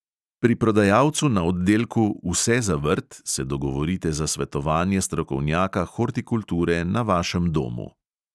Pri prodajalcu na oddelku "vse za vrt" se dogovorite za svetovanje strokovnjaka hortikulture na vašem domu.